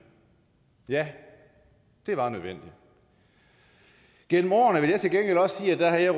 ja det var nødvendigt jeg vil også sige at jeg